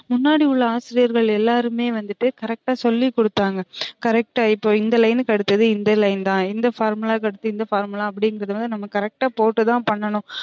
முன்னாடி உள்ள ஆசிரியார்கள் எல்லாருமே வந்துட்டு correct ஆ சொல்லி குடுத்தாங்க correct ஆ இப்ப இந்த line க்கு அடுத்தது இந்த line தான் இந்த formula க்கு அடுத்து formula அப்ப்டிங்குறது வந்து நம்ம correct ஆ போட்டு தான் பன்னுணோம்